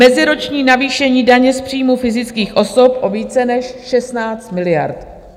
Meziroční navýšení daně z příjmů fyzických osob o více než 16 miliard.